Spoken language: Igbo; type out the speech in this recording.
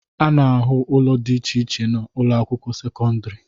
A na-ahụ ụlọ dị iche iche na ụlọakwụkwọ sekọndịrị